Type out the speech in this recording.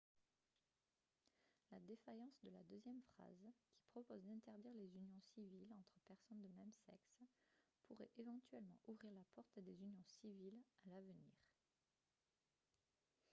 la défaillance de la deuxième phrase qui propose d'interdire les unions civiles entre personnes de même sexe pourrait éventuellement ouvrir la porte à des unions civiles à l'avenir